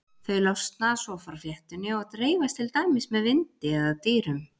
Þau losna svo frá fléttunni og dreifast til dæmis með vindi eða dýrum.